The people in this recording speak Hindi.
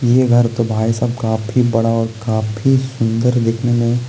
ये घर तो भाई साहब काफी बड़ा और काफी सुंदर दिखने में --